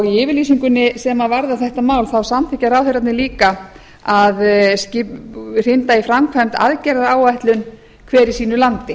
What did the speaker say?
í yfirlýsingunni sem varðar þetta mál samþykkja ráðherrarnir líka að hrinda í framkvæmd aðgerða álætlun hver í sínu landi